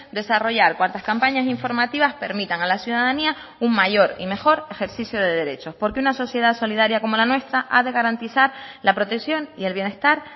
desarrollar cuantas campañas informativas permitan a la ciudadanía un mayor y mejor ejercicio de derechos porque una sociedad solidaria como la nuestra ha de garantizar la protección y el bienestar